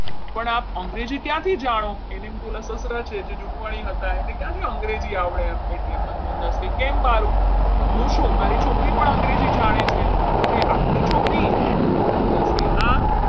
પણ આપ અંગ્રેજી ક્યાંથી જાણો એને એમ કે પેલા સસરા છે જુનવાણી હતા એને ક્યાંથી અંગ્રેજી આવડે એટલે કેમ મારું? હું શું મારી છોકરી પણ અંગ્રેજી જાણે છે. doctor કહે આપની છોકરી મનમોહનદાસ કહે હા.